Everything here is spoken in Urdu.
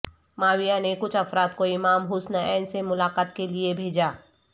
معاویہ نے کچھ افراد کو امام حسن ع سے ملاقات کے لئے بھیجا